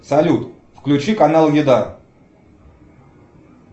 салют включи канал еда